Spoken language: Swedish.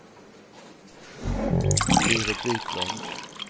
Berit Viklund